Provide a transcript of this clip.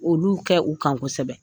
Olu kɛ u kan kosɛbɛ